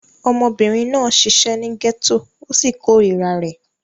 Ọmọbìnrin náà ṣiṣẹ́ ní gẹ́tò ó sì korira rẹ̀.